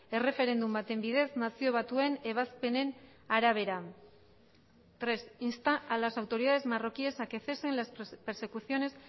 erreferendum baten bidez nazio batuen ebazpenen arabera tres insta a las autoridades marroquíes a que cesen las persecuciones